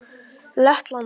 Lettland